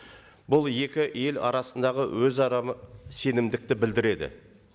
бұл екі ел арасындағы өзара сенімдікті білдіреді